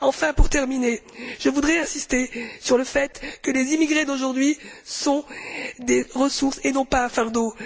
Enfin, pour terminer, je voudrais insister sur le fait que les immigrés d'aujourd'hui sont des ressources et non pas un fardeau.